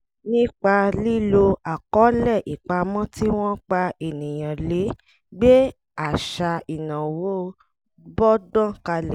nípa lílo àkọọlẹ̀ ìpamọ́ tí wọ́n pa ènìyàn lè gbé àṣà ìnáwó bọ́gbọ́n kalẹ̀